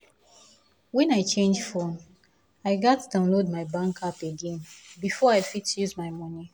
when i change phone i gats download my bank app again before i fit use my money